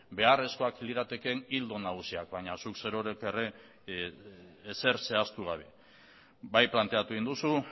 beharrezkoak liratekeen ildo nagusiak baina zuk zerorrek ere ezer zehaztu gabe bai planteatu egin duzu